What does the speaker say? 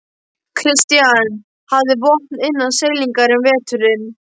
Christian hafði vopn innan seilingar um veturinn.